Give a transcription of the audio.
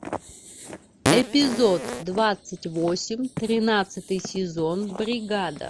эпизод двадцать восемь тринадцатый сезон бригада